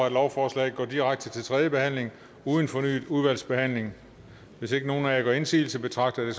at lovforslaget går direkte til tredje behandling uden fornyet udvalgsbehandling hvis ikke nogen af jer gør indsigelse betragter